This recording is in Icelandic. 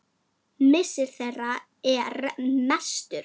Missir þeirra er mestur.